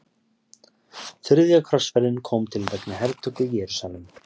Þriðja krossferðin kom til vegna hertöku Jerúsalem.